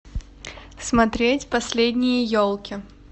смотреть последние елки